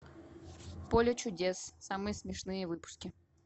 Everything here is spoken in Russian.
поле чудес самые смешные выпуски